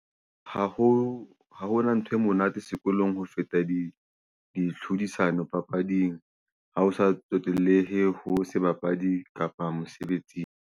Ha ho ha hona ntho e monate sekolong ho feta ditlhodisano papading, ha ho sa tsotellehe ho se bapadi kapa mosebetsing.